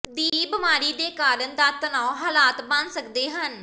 ਦੀ ਬਿਮਾਰੀ ਦੇ ਕਾਰਨ ਦਾ ਤਣਾਅ ਹਾਲਾਤ ਬਣ ਸਕਦੇ ਹਨ